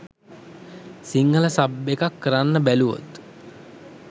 Sinhala sub එකක් කරන්න බැලුවොත්